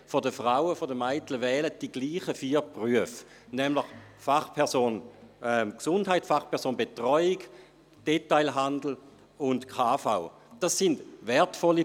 50 Prozent der Mädchen wählen dieselben vier Berufe, nämlich Fachperson Gesundheit, Fachperson Betreuung, Detailhandelsangestellte und kaufmännische Angestellte.